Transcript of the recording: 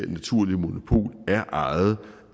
naturlige monopol er ejet